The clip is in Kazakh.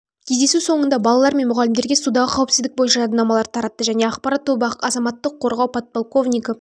кездесу соңында балалар мен мұғалімдерге судағы қауіпсіздік бойынша жадынамаларды таратты және ақпарат тобы азаматтық қорғау подполковнигі